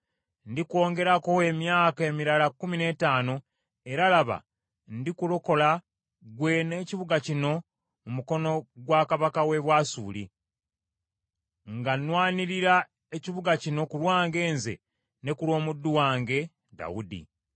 Ndikwongerako emyaka emirala kkumi n’ettaano, era laba ndikulokola ggwe n’ekibuga kino mu mukono gwa kabaka w’e Bwasuli, nga nnwanirira ekibuga kino ku lwange nze ne ku lw’omuddu wange Dawudi.’ ”